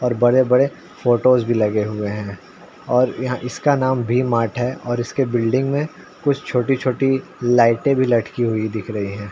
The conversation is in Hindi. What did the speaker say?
और बड़े-बड़े फोटोज भी लगे हुए हैं और यहाँ इसका नाम वी मार्ट है और इसकी बिल्डिंग में कुछ छोटी-छोटी लाइटे भी लटकी हुई दिख रही हैं।